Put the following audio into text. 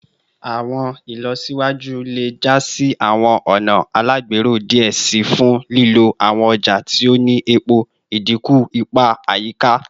Awọn ilọsiwaju iwaju le ja si awọn ọna alagbero diẹ sii fun lilo awọn ọja ti o ni epo, idinku ipa ayika